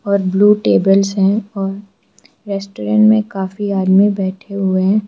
और blue tables हैं और रेस्टोरेंट में काफ़ी आदमी बैठे हुए हैं।